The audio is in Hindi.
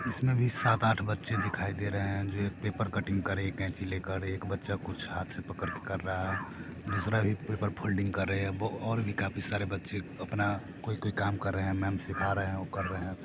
'' इसमें भी सात-आठ बच्चे दिखाई दे रहे हैं जो एक पेपर कटिंग कर रहे हैं एक कैंची लेकर एक बच्चा कुछ हाथ से पकड़ कर कर रहा है दूसरा भी पेपर फोल्डिंग कर रहे हैं और भी काफी सारे बच्चे अपना कोई कोई काम कर रहे हैं मेम् सीखा रहे हैं वो कर रहे हैं ।''